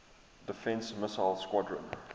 defense missile squadron